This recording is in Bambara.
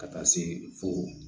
Ka taa se fo